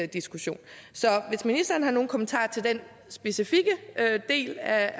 diskussion så hvis ministeren har nogen kommentarer til den specifikke del af